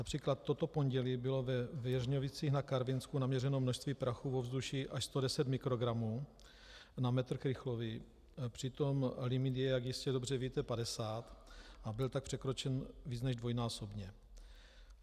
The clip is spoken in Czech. Například toto pondělí bylo ve Věřnovicích na Karvinsku naměřeno množství prachu v ovzduší až 110 mikrogramů na metr krychlový, přitom limit je, jak jistě dobře víte, 50, a byl tak překročen více než dvojnásobně.